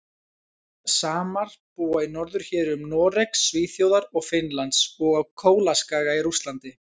Samar búa í norðurhéruðum Noregs, Svíþjóðar og Finnlands og á Kólaskaga í Rússlandi.